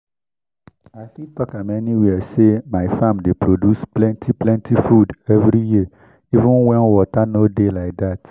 i fit talk am any where say my farm dey produce plenti plenti food every year even when water no dey like that